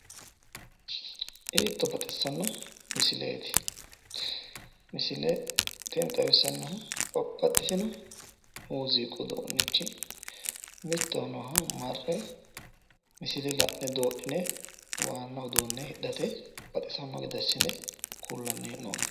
Hiitto baxissanno misilete. Misile tini xawissannohu babbaxino mooziiqu uduunnicho mittowa nooha marre la'ne doodhine hidhate baxissanno gede assine kullanni hee'noonni.